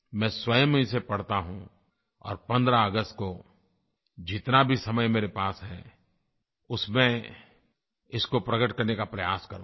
मैं स्वयं ही उसे पढ़ता हूँ और 15 अगस्त को जितना भी समय मेरे पास है उसमें इसको प्रगट करने का प्रयास करूँगा